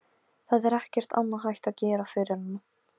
Það er ekkert annað hægt að gera fyrir hana.